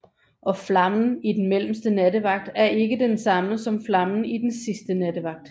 Og flammen i den mellemste nattevagt er ikke den samme som flammen i den sidste nattevagt